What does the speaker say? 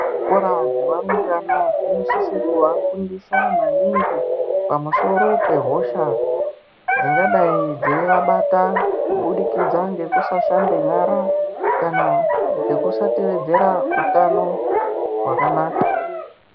Zvikora zveva rumbwana zvinosise kuvafundisa maningi pamusoro pehosha dzingadai dzeivabata kubudikidza ngekusashambe nyara kana ngekusateedzera utano wakanaka.